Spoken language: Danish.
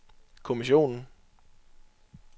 kommissionen